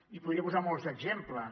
i podria posar molts exemples